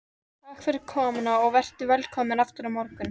Takk fyrir komuna og vertu velkomin aftur á morgun.